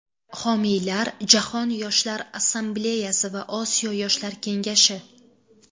Homiylar Jahon Yoshlar Assambleyasi va Osiyo Yoshlar Kengashi.